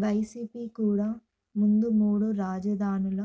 YCP కూడా ముందు మూడు రాజధానుల